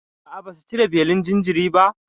A'a, basu cire belin jinjirin ba?